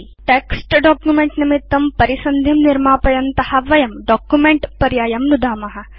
वयं text document निमित्तं परिसन्धिं निर्मापयन्त स्मअत वयं डॉक्युमेंट पर्यायं नुदाम